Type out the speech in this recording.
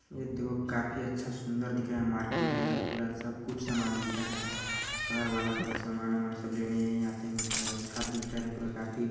ए देखो काफी अच्छा सुन्दर दिख रहा है मार्केट यहाँ पूरा सब कुछ सामान मिलता है घर वाला पूरा सामान-वामान सब लेने यही आते है मतलब अच्छा दिख रहा है पूरा काफी--